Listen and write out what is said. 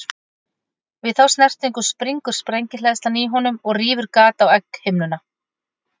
Við þá snertingu springur sprengihleðsla í honum og rýfur gat á egghimnuna.